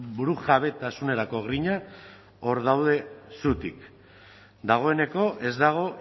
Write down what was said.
burujabetasunerako grina hor daude zutik dagoeneko ez dago